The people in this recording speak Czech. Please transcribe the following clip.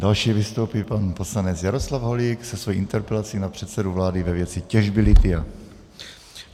Další vystoupí pan poslanec Jaroslav Holík se svou interpelaci na předsedu vlády ve věci těžby lithia.